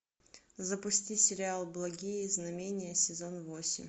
запусти сериал благие знамения сезон восемь